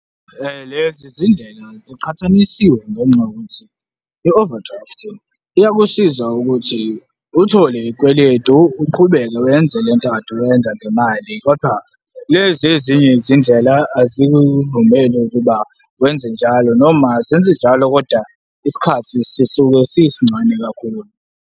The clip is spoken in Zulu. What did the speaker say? Lezi zindlela ziqhathanisiwe ngenxa yokuthi i-overdraft-i iyakusiza ukuthi uthole iyikweletu, uqhubeke wenze lento okade uyenza ngemali kodwa lezi ezinye izindlela azikuvumeli ukuba wenze njalo noma zenze njalo kodwa isikhathi sisuke sisincane kakhulu.